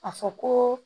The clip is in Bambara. A fɔ ko